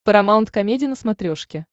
парамаунт комеди на смотрешке